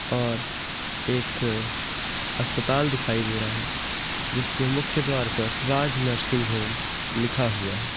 और एक अस्पताल दिखाई दे रहा है जिसके मुख्य द्वार पर राज नर्सिंग होम लिखा हुआ है।